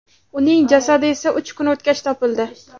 Uning jasadi esa uch kun o‘tgach topildi.